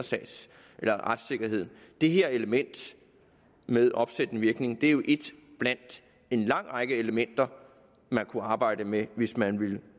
retssikkerheden det her element med opsættende virkning er jo ét blandt en lang række elementer man kunne arbejde med hvis man ville